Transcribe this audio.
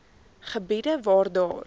gebiede waar daar